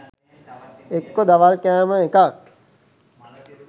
එක්කෝ දවල් කෑම එකක්